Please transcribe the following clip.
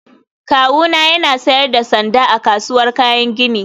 Kawuna yana sayar da sanda a kasuwar kayan gini